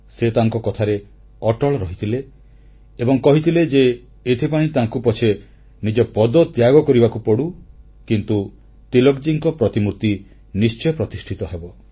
ସେ ତାଙ୍କ କଥାରେ ଅଟଳ ରହିଥିଲେ ଏବଂ କହିଥିଲେ ଯେ ଏଥିପାଇଁ ତାଙ୍କୁ ପଛେ ନିଜ ପଦ ତ୍ୟାଗ କରିବାକୁ ପଡ଼ୁ କିନ୍ତୁ ତିଳକଜୀଙ୍କ ପ୍ରତିମୂର୍ତି ନିଶ୍ଚୟ ପ୍ରତିଷ୍ଠା ହେବ